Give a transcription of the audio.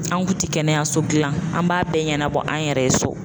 An kun tɛ kɛnɛyaso dilan an b'a bɛɛ ɲɛnabɔ an yɛrɛ ye so.